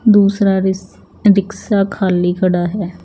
दूसरा रिस रिक्सा खाली खड़ा है।